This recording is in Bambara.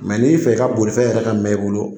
n'i fɛ i ka bolifɛn yɛrɛ ka mɛɛn i bolo